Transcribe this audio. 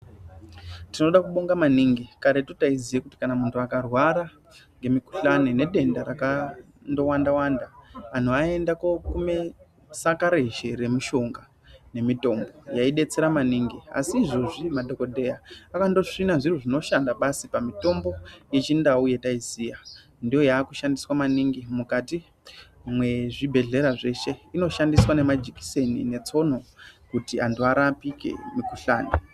Tinoda kubonga maningi karetu taiziye kuti kana muntu akarwara ngemikhuhlani nedenda rakandowanda Wanda antu aienda kokume sakarezhe remushonga nemitombo yaidetsera maningi, asi izvozvi madhokodheya akandosvina zviro zvinoshanda basi pamutombo yechindau yataiziya ndoyakushandiswa maningi mukati mwezvibhedhlera zveshe inoshandiswa ngemajekiseni netsono kuti antu arapike mukushanda.